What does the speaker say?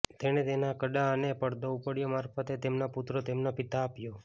તેણે તેના કડા અને પડદો ઉપડ્યો મારફતે તેમના પુત્રો તેમના પિતા આપ્યો